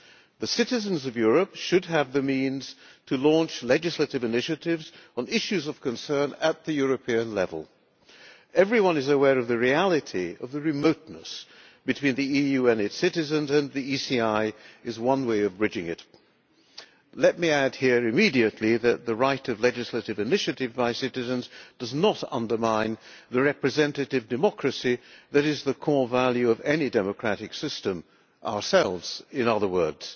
The citizens of Europe should have the means to launch legislative initiatives on issues of concern at the European level. Everyone is aware of the reality of the remoteness between the EU and its citizens, and the ECI is one way of bridging it. Let me add here immediately that the right of legislative initiative by citizens does not undermine the representative democracy that is the core value of any democratic system ourselves in other words.